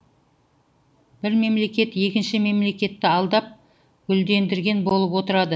бір мемлекет екінші мемлекетті алдап гүлдендірген болып отырады